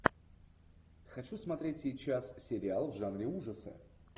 хочу смотреть сейчас сериал в жанре ужасы